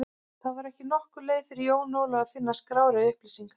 Það var ekki nokkur leið fyrir Jón Ólaf að finna skrár eða upplýsingar.